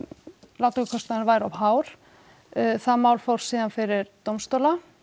lántökukostnaðurinn væri of hár það mál fór síðan fyrir dómstóla